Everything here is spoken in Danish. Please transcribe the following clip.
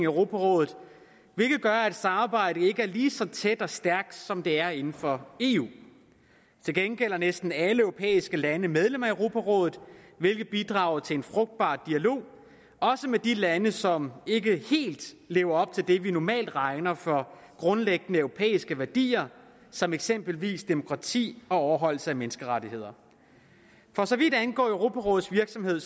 europarådet hvilket gør at samarbejdet ikke er lige så tæt og stærkt som det er inden for eu til gengæld er næsten alle europæiske lande medlem af europarådet hvilket bidrager til en frugtbar dialog også med de lande som ikke helt lever op til det vi normalt regner for grundlæggende europæiske værdier som eksempelvis demokrati og overholdelse af menneskerettigheder for så vidt angår europarådets virksomhed